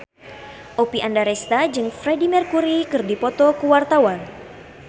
Oppie Andaresta jeung Freedie Mercury keur dipoto ku wartawan